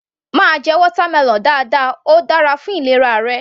Máa jẹ watermelon dáadáa, óò dára fún ìlera ara rẹ.